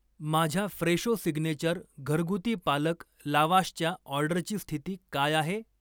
माझ्या Fresho signature घरगुती पालक लावाशच्या ऑर्डरची स्थिती काय आहे?